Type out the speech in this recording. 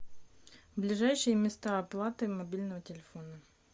ближайшие места оплаты мобильного телефона